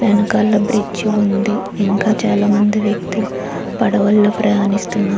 వెనకాల బ్రిడ్జి ఉంది. ఇంకా చాలా మంది వ్యక్తులు పడవలో ప్రయాణిస్తున్నారు.